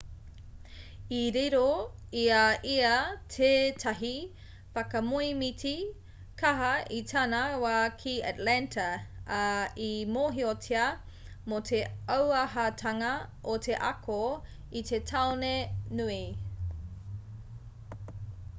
i riro i a ia teētahi whakamoemiti kaha i tana wā ki atlanta ā i mōhiotia mō te auahatanga o te ako i te taone nui